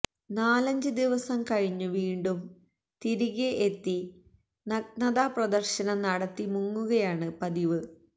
നാലഞ്ച് ദിവസം കഴിഞ്ഞു വീണ്ടും തിരികെ എത്തി നഗ്നതാപ്രദർശനം നടത്തി മുങ്ങുകയാണ് പതിവ്